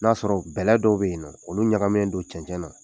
N'a sɔrɔ bɛlɛ dɔw be yennɔ, olu ɲagaminen don cɛncɛn na